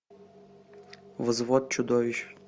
взвод чудовищ